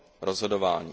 rozhodování.